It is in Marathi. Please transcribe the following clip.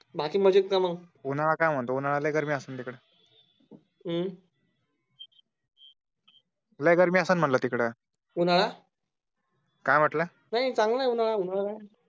बाकी मजेत का मग? उन्हाळा काय म्हणतो उन्हाळा लै गारिमी असेल तिकडे. हम्म लै गर्मी असेल तिकडे उन्हाळा काय म्हटलं नाही चांगलं आहे उन्हाळा